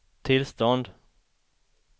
tillstånd